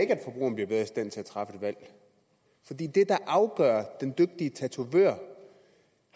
træffe et valg fordi det der afgør den dygtige tatovør